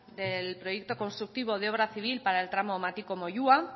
del proyecto constructivo de obra civil para el tramo matiko moyua